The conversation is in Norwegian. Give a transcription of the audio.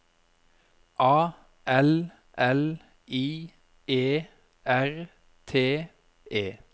A L L I E R T E